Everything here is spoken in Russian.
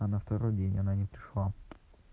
а на второй день она не пришла